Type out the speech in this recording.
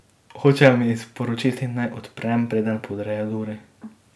Hočejo mi sporočiti, naj odprem, preden podrejo duri.